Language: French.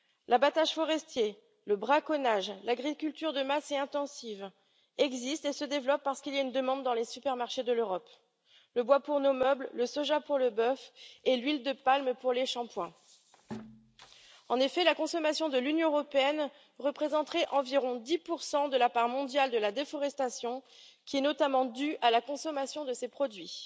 L'abattage forestier, le braconnage, l'agriculture de masse et intensive existent et se développent parce qu'il y a une demande dans les supermarchés de l'Europe le bois pour nos meubles, le soja pour le bœuf et l'huile de palme pour les shampooings. En effet, la consommation de l'Union européenne représenterait environ 10 de la part mondiale de la déforestation, qui est notamment due à la consommation de ces produits.